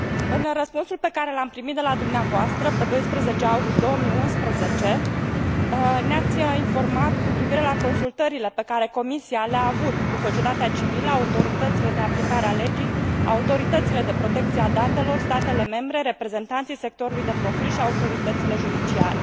În răspunsul pe care l am primit de la dumneavoastră, pe 12 august 2011, ne ați informat cu privire la consultările pe care Comisia le a avut cu societatea civilă, autoritățile de aplicare a legii, autoritățile de protecție a datelor, statele membre, reprezentanții sectorului de profil și autoritățile judiciare.